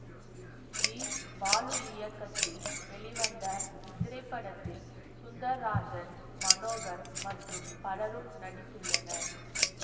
G Balu இயக்கத்தில் வெளிவந்த இத்திரைப்படத்தில் சுந்தர்ராஜன் மனோகர் மற்றும் பலரும் நடித்துள்ளனர்